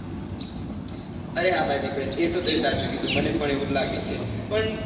અરે હા ભાઈ દીપેન એ તે સાચું કીધું મને પણ એવુંજ લાગે છે પણ